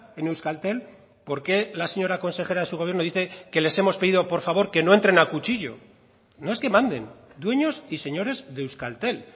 en euskaltel por qué la señora consejera de su gobierno dice que les hemos pedido por favor que no entren a cuchillo no es que manden dueños y señores de euskaltel